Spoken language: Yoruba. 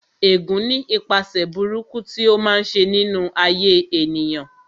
Ẹ̀gún ní ipaṣẹ̀ burúkú tí ó máa ń ṣe nínú ayé ènìyàn